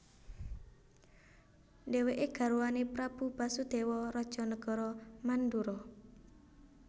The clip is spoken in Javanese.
Dhèwèké garwané Prabu Basudéwa raja nagara Mandura